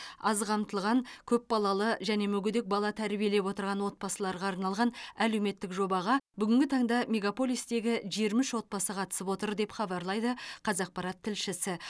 аз қамтылған көпбалалы және мүгедек бала тәрбиелеп отырған отбасыларға арналған әлеуметтік жобаға бүгінгі таңда мегаполистегі жиырма үш отбасы қатысып отыр деп хабарлайды қазақпарат тілшісі